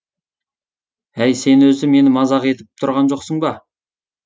әй сен өзі мені мазақ етіп тұрған жоқсың ба